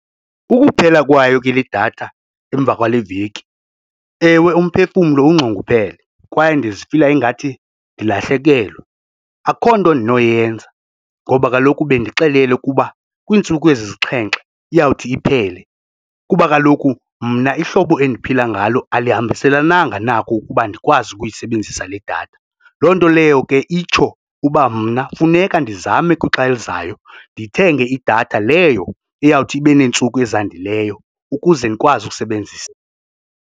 Ukuphela kwayo ke le datha emva kwale veki, ewe, umphefumlo unxunguphele kwaye ndizifila ingathi ndilahlekelwe akukho nto ndinoyenza. Ngoba kaloku bendixelele ukuba kwiintsuku ezisixhenxe iyawuthi iphele kuba kaloku mna ihlobo endiphila ngalo alihambiselananga nako ukuba ndikwazi ukuyisebenzisa le datha. Loo nto leyo ke itsho uba mna funeka ndizame kwixa elizayo ndithenge idatha leyo eyawuthi ibe neentsuku ezandileyo ukuze ndikwazi ukusebenzisa.